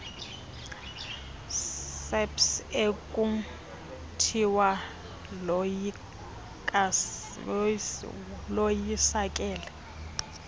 saps ekuthiwa loyisakele